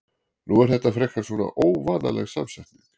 Nú er þetta frekar svona óvanaleg samsetning?